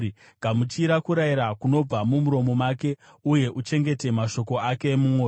Gamuchira kurayira kunobva mumuromo make uye uchengete mashoko ake mumwoyo.